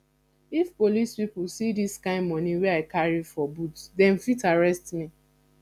if police pipu see dis kind moni wey i carry for boot dem fit arrest me